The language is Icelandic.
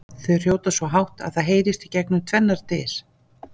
Þau hrjóta svo hátt að það heyrist gegnum tvennar dyr!